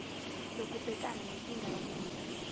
lokubhekana nenkinga yomnotho